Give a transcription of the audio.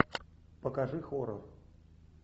покажи хоррор